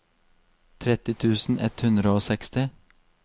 tretti tusen ett hundre og seksti